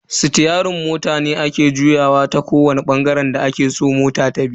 Sitiyerin mota ne ake juyawa ta kowani bangaren da ake so mota tabi.